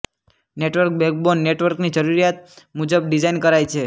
network backbone નેટવર્કની જરૂરિયાત મુજબ ડીઝાઇન કરાય છે